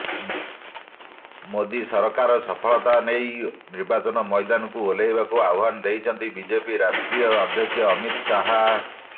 ମୋଦି ସରକାରର ସଫଳତା ନେଇ ନିର୍ବାଚନ ମଇଦାନକୁ ଓହ୍ଲାଇବାକୁ ଆହ୍ବାନ ଦେଇଛନ୍ତି ବିଜେପି ରାଷ୍ଟ୍ରୀୟ ଅଧ୍ୟକ୍ଷ ଅମିତ ଶାହା